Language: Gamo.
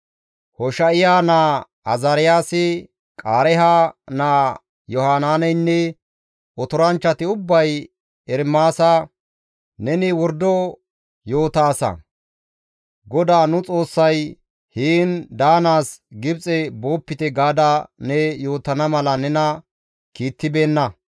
Hosha7iya naa Azaariyaasi, Qaareeha naa Yohanaaneynne otoranchchati ubbay Ermaasa, «Neni wordo yootaasa! GODAA nu Xoossay, ‹Heen daanaas Gibxe boopite› gaada ne yootana mala nena kiittibeenna.